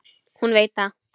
Hún veit það.